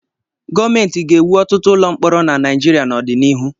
Gọọmenti ga-ewu ọtụtụ ụlọ mkpọrọ na Naịjirịa n'ọdịnihu.